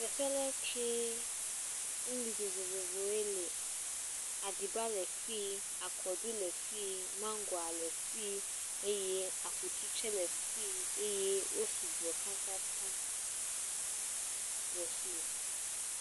Teɔe ale kee, nuɖuɖu vovovowo le, aɖiba le fii, akɔɖu le fii, mangoa le fii eye akutu tsɛ le fii eye wo sugbɔ tatata.